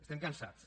estem cansats